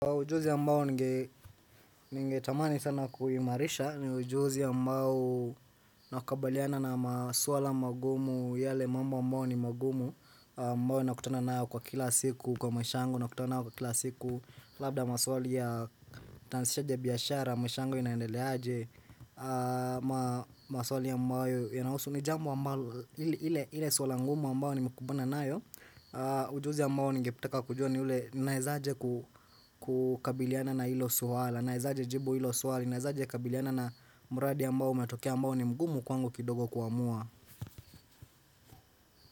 Ujuzi ambao ninge tamani sana kuimarisha ni ujuzi ambao nakakabaliana na masuala magumu yale mambo aymbao ni magumu. Ambayo na kutana nayo kwa kila siku, kwa maish yangu na kutana nayo kwa kila siku. Labda maswali ya nitaanzishaje biashara, maisha yangu inaendeleaje, maswali ambayo inahusu. Nijambo ambalo ile swala ngumu ambayo ni nimekubana nayo. Ujuzi ambao ningetaka kujua ni ule naezaje kukabiliana na ilo suhala Naezaje jibu ilo swali, naezaje kabiliana na muradi ambao matokea ambao ni mgumu kwangu kidogo kuamua.